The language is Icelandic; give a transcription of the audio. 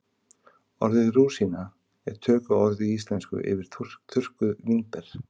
orðið rúsína er tökuorð í íslensku yfir þurrkuð vínber